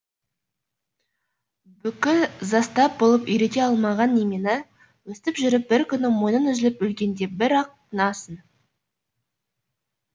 бүкіл застап болып үйрете алмаған немені өстіп жүріп бір күні мойның үзіліп өлгенде бір ақ тынасың